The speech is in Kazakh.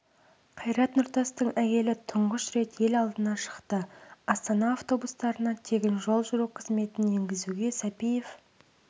қайрат нұртастың әйелі тұңғыш рет ел алдына шықты астана автобустарына тегін жол жүру қызметін енгізуге сәпиев